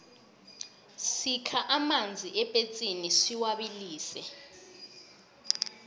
sikha amanzi epetsini siwabilise